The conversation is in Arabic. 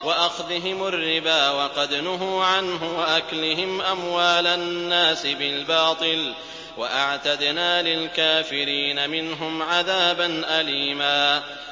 وَأَخْذِهِمُ الرِّبَا وَقَدْ نُهُوا عَنْهُ وَأَكْلِهِمْ أَمْوَالَ النَّاسِ بِالْبَاطِلِ ۚ وَأَعْتَدْنَا لِلْكَافِرِينَ مِنْهُمْ عَذَابًا أَلِيمًا